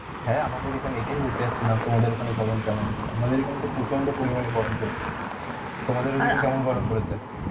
হ্যাঁ আমাদের এখানে এটাই বলতে যাচ্ছিলাম তোমাদের ওখানে গরম কেমন আছে, আমাদের এখানে তো প্রচন্ড পরিমাণে গরম পড়েছে, তোমাদের কেমন গরম পড়েছে?